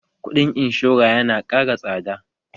Kuɗin inshora yana ƙara tsada